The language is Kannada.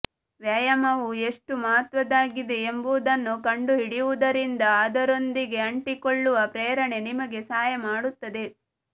ವ್ಯಾಯಾಮವು ಎಷ್ಟು ಮಹತ್ವದ್ದಾಗಿದೆ ಎಂಬುದನ್ನು ಕಂಡುಹಿಡಿಯುವುದರಿಂದ ಅದರೊಂದಿಗೆ ಅಂಟಿಕೊಳ್ಳುವ ಪ್ರೇರಣೆ ನಿಮಗೆ ಸಹಾಯ ಮಾಡುತ್ತದೆ